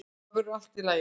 Þetta verður allt í lagi.